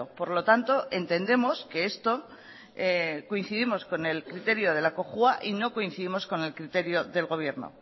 por lo tanto entendemos que esto coincidimos con el criterio de la cojua y no coincidimos con el criterio del gobierno